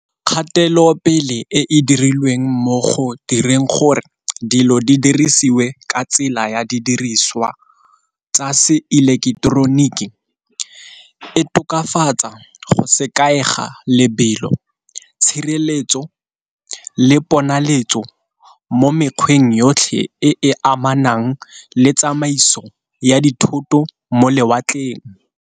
Kgatelopele e e dirilweng mo go direng gore dilo di dirisiwe ka tsela ya didiriswa tsa se eleketeroniki e tokafatsa go se kaega lebelo, tshireletso, le ponalesetso mo mekgweng yotlhe e e amanang le tsamaiso ya dithoto mo lewatleng.